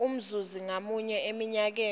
umzuzi ngamunye eminyakeni